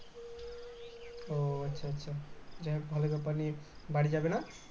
ও আচ্ছা আচ্ছা যাই হোক ভালো . বাড়ি যাবে না